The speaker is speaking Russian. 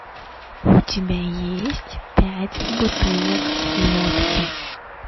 у тебя есть пять бутылок водки